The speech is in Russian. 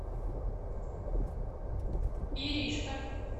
иришка